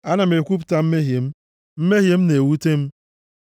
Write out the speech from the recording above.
Ana m ekwupụta mmehie m; mmehie m na-ewute m.